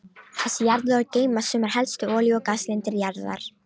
Þessi jarðlög geyma sumar helstu olíu- og gaslindir jarðar.